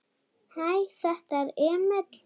Hæ, þetta er Emil.